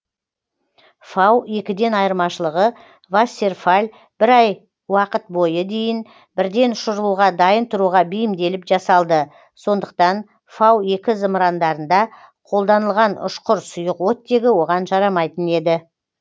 фау екіден айырмашылығы вассерфалль бір ай уақыт бойы дейін бірден ұшырылуға дайын тұруға бейімделіп жасалды сондықтан фау екі зымырандарында қолданылған ұшқыр сұйық оттегі оған жарамайтын еді